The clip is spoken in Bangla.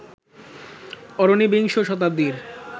অরণি বিংশ শতাব্দীর